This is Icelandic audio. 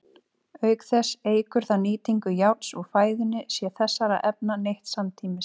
Auk þess eykur það nýtingu járns úr fæðunni sé þessara efna neytt samtímis.